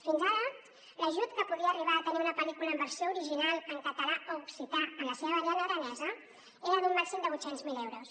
fins ara l’ajut que podia arribar a tenir una pel·lícula en versió original en català o occità en la seva variant aranesa era d’un màxim de vuit cents miler euros